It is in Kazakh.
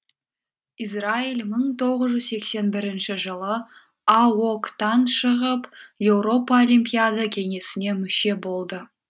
израиль мың тоғыз жүз сексен бірінші жылы аок тан шығып еуропа олимпиада кеңесіне мүше болды